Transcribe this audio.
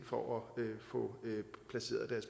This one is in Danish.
for at få placeret